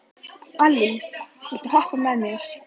Allý, viltu hoppa með mér?